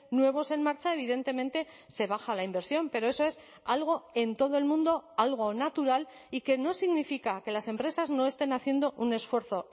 nuevos en marcha evidentemente se baja la inversión pero eso es algo en todo el mundo algo natural y que no significa que las empresas no estén haciendo un esfuerzo